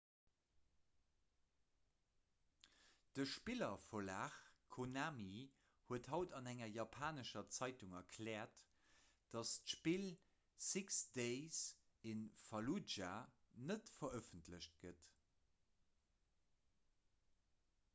de spillerverlag konami huet haut an enger japanescher zeitung erkläert datt d'spill six days in falludja net verëffentlecht gëtt